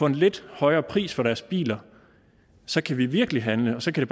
en lidt højere pris for deres biler så kan vi virkelig handle og så kan